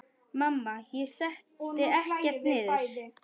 Mamma: Ég setti ekkert niður!